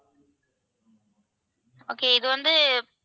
okay இது வந்து